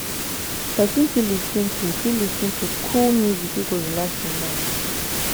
person fit lis ten to fit lis ten to cool music we go relax im mind